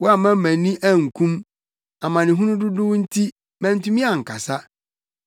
Woamma mʼani ankum; amanehunu dodow nti, mantumi ankasa.